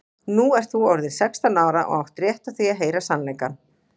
Nú ert þú orðin sextán ára og átt rétt á því að heyra sannleikann.